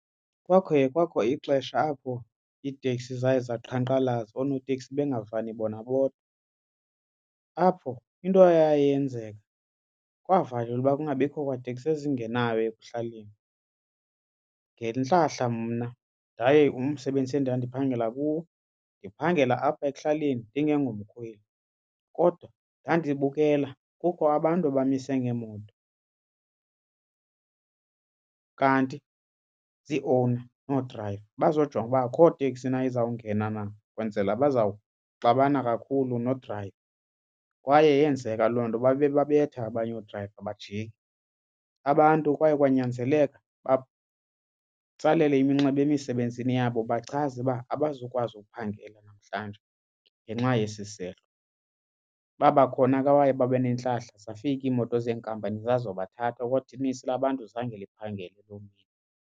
Kwakhe kwakho ixesha apho iiteksi zaye zaqhankqalaza oonoteksi bengavani bona bodwa. Apho into eyaye yenzeka kwavalelwa uba kungabikho kwateksi ezingenayo ekuhlaleni. Ngentlahla mna ndaye umsebenzi endandiphangela kuwo ndiphangela apha ekuhlaleni ndingengomkhweli. Kodwa ndandibukela kukho abantu abamise ngeemoto kanti zii-owner noodrayiva bazojonga uba akho teksi na izawungena na ukwenzela bazawuxabana kakhulu nodrayiva kwaye yenzeka loo nto, babe babetha abanye oodrayiva bajike. Abantu kwaye kwanyanzeleka batsalele iminxeba emisebenzini yabo bachaze uba abazukwazi ukuphangela namhlanje ngenxa yesi sehlo. Babakhona ke abaye babe nentlahla zafika iimoto zenkampani zazobathatha kodwa unintsi lwabantu zange liphangele loo mini.